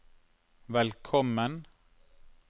velkommen